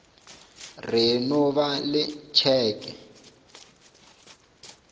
re e no ba letšeke